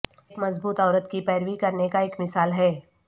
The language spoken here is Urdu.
ایک مضبوط عورت کی پیروی کرنے کا ایک مثال ہے